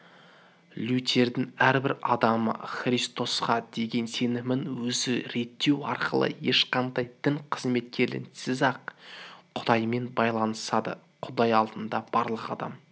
лютердің әрбір адамы христосқа деген сенімін өзі реттеу арқылы ешқандай дін кызметкерлерінсіз-ақ құдаймен байланысады құдай алдында барлық адам